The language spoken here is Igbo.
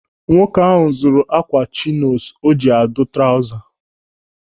Nwoke ahụ zụrụ ákwà chinos o ji adụ trauza.